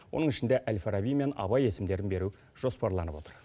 оның ішінде әл фараби мен абай есімдерін беру жоспарланып отыр